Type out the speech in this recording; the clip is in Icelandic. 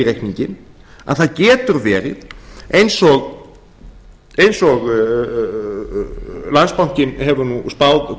reikninginn að það getur verið eins og landsbankinn hefur spáð og